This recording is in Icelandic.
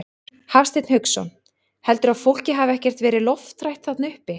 Hafsteinn Hauksson: Heldurðu að fólkið hafi ekkert verið lofthrætt þarna uppi?